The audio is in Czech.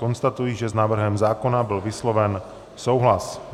Konstatuji, že s návrhem zákona byl vysloven souhlas.